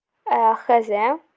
а не знаю